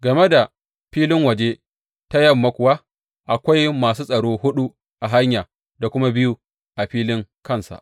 Game da filin waje ta yamma kuwa, akwai masu tsaro huɗu a hanya da kuma biyu a filin kansa.